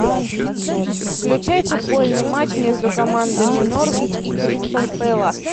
включай футбольный матч между командами норвич и кристал пэлас